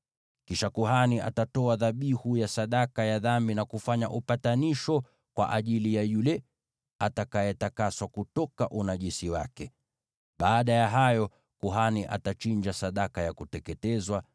“Kisha kuhani atatoa dhabihu ya sadaka ya dhambi na kufanya upatanisho kwa ajili ya yule atakayetakaswa kutoka unajisi wake. Baada ya hayo, kuhani atachinja sadaka ya kuteketezwa